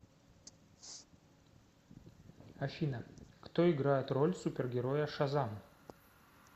афина кто играет роль супергероя шазам